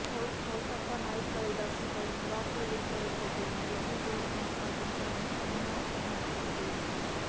coal కతా knight riders పై miracle victory కొట్టిన ఢిల్లీ జోరు కొనసాగించేందుకు సమాయత్తం అవుతోంది